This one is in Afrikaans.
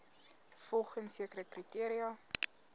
volgens sekere kriteria